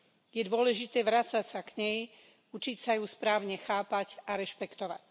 Je dôležité vracať sa k nej, učiť sa ju správne chápať a rešpektovať.